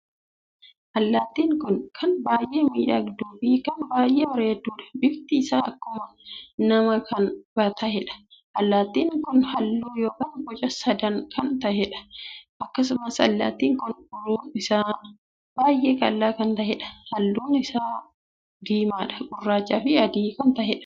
Allaattiin kun kan baay'ee miidhagduu fi kan baay'ee bareeddudha. bifti isaa akkuma namaa kan taheedha. allattiin kun halluu ykn boca sadn kan taheedha. akkasumas allaattiii kun uruun isaa baay'ee qal'aa kan taheedhaa .halluun kun is diimaa, gurraachaa fi adii kan taheedha.